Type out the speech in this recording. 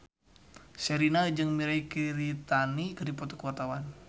Sherina jeung Mirei Kiritani keur dipoto ku wartawan